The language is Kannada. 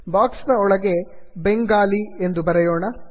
ಬಾಕ್ಸ್ ನ ಒಳಗೆ ಬೆಂಗಾಲಿ ಬೆಂಗಾಲಿ ಎಂದು ಬರೆಯೋಣ